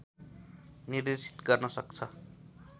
निर्देशित गर्न सक्छ